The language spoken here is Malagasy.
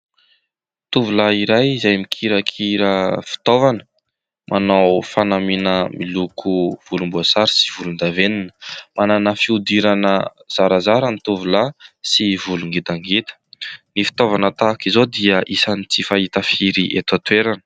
Tovolahy iray izay mikirakira fitaovana, manao fanamiana miloko volomboasary sy volondavenina, manana fihodirana zarazara ny tovolahy sy volo ngitangita. Ny fitaovana tahaka izao dia isany tsy fahita firy eto an-toerana.